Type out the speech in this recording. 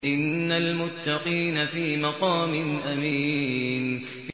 إِنَّ الْمُتَّقِينَ فِي مَقَامٍ أَمِينٍ